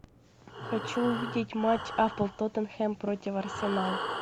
хочу увидеть матч апл тоттенхэм против арсенал